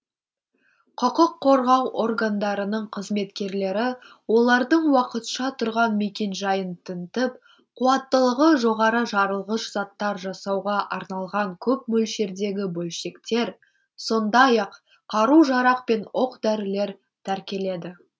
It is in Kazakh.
құқық қорғау органдарының қызметкерлері олардың уақытша тұрған мекенжайын тінтіп қуаттылығы жоғары жарылғыш заттар жасауға арналған көп мөлшердегі бөлшектер сондай ақ қару жарақ пен оқ дәрілер тәркеледі